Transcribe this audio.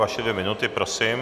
Vaše dvě minuty, prosím.